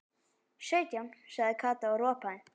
Sautján sagði Kata og ropaði.